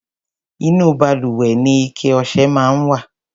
Inú balùwẹ̀ ni ike ọṣẹ máa ń wà.